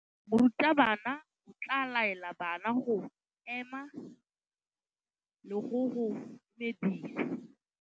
Morutabana o tla laela bana go ema le go go dumedisa.